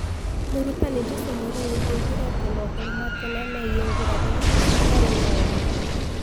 Mũrutani Jose Mourinho augire ati mohoro ma tene migie nguraro iyo citiari na uma